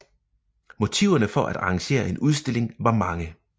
Motiverne for at arrangere en udstilling var mange